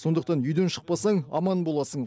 сондықтан үйден шықпасаң аман боласың